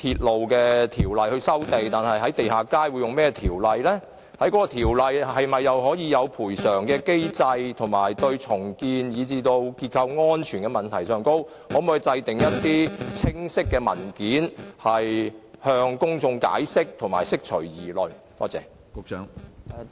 當局可否就有關條例是否訂有賠償機制，以及它就重建以至結構安全問題的處理，擬備清晰文件向公眾作出解釋，釋除公眾的疑慮？